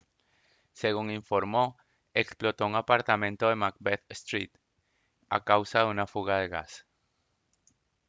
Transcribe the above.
según se informó explotó un apartamento en macbeth street a causa de una fuga de gas